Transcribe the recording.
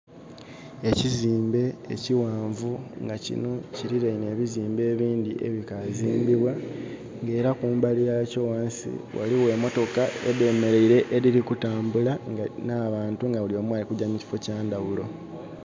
Ekiziimbe, ekiwaanvu nga kino kililaine ebizimbe ebindhi ebikazimbibwa, nga era kumbali ghakyo wansi waliwo emotoka edhemeleile, edhili kutambula, n'abantu nga buli omu alikujja mu kiffo kya ndhawulo.